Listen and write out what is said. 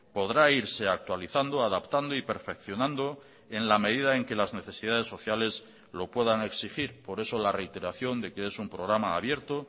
podrá irse actualizando adaptando y perfeccionando en la medida en que las necesidades sociales lo puedan exigir por eso la reiteración de que es un programa abierto